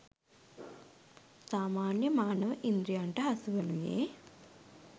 සාමාන්‍ය මානව ඉන්ද්‍රියන්ට හසුවනුයේ